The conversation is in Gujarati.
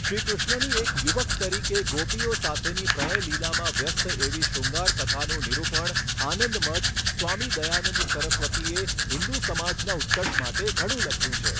શ્રી કૃષ્ણની એક યુવક તરીકે ગોપીઓ સાથેની પ્રણયલીલામાં વ્યસ્ત એવી શૃગાંર કથાનું નિરૂપણ આનંદ મઠ સ્વામી દયાનંદ સરસ્વતીએ હિંદુ સમાજના ઉત્કર્ષ માટે ઘણું લખ્યુ છે.